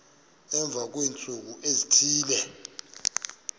emva kweentsuku ezithile